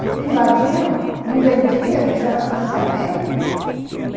Porque invadiam, não vendiam, não tinha mais financiamento.